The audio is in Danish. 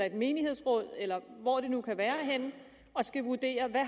et menighedsråd eller hvor det nu kan være henne og skal vurdere hvad